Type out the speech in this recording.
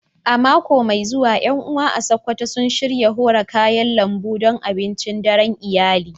A mako mai zuwa, ƴan uwa a Sakkwato sun shirya hora kayan lambu don abincin daren iyali.